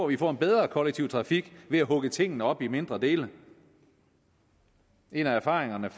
vi får en bedre kollektiv trafik ved at hugge tingene op i mindre dele en af erfaringerne